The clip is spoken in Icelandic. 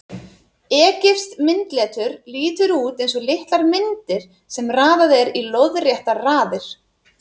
Egypskt myndletur lítur út eins og litlar myndir sem raðað er í lóðréttar raðir.